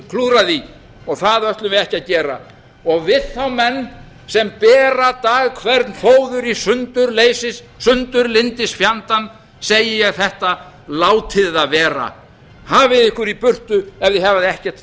klúðrað því það ætlum við ekki að gera við þá menn sem bera dag hvern fóður í sundurlyndisfjandann segi ég þetta látið það vera hafið ykkur í burtu ef þið hafi ekkert